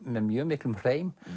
með mjög miklum hreim